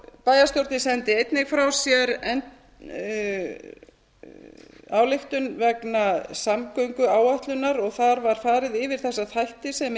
bæjarstjórnin sendi einnig frá sér ályktun vegna samgönguáætlunar og þar var farið yfir þessa þætti sem